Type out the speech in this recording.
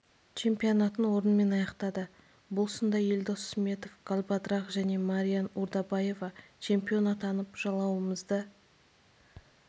чемпионатын орынмен аяқтады бұл сында елдос сметов галбадрах және мариан урдабаева чемпион атанып жалауымызды